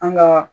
An ga